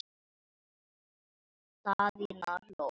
Daðína hló.